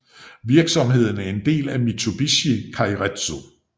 Virksomheden er en del af Mitsubishi keiretsu